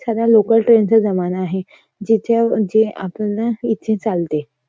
सगळा local train चा जमाना आहे. जे आपल्या इथे चालते.